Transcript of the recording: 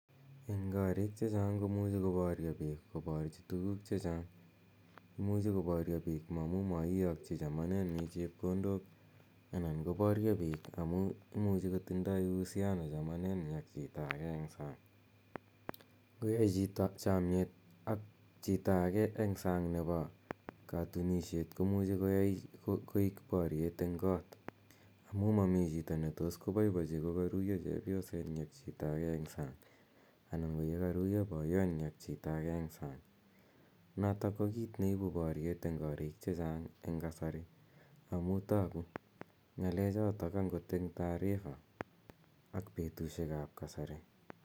Eng' koriik che chang' komuchi koparya piik koporchi tuguuk che chang'. Imuchi koparya piik amu maiyakchi chamanennyi chepkondok i anan ko parya piik amu imuchi kotindai uhusiano chamanenyi ak chito ge eng' sang'. Ngoyai chito chamiet ak chito age eng' nepo katunisiet komuchi koik paryet eng' koot amu mami chito ne tos poipochi kokaruya chepyosenyi ak chito age eng' sang' anan ko kokaruyo poyotnyi ak chito age eng' sang' notok ko kiit neipu paryet eng' kariik che chang' eng' kasari amu tagu ng'alechotok agot eng' taarifa ak petushek ap kasari.